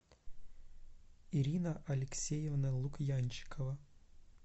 ирина алексеевна лукьянчикова